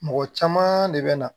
Mɔgɔ caman de bɛ na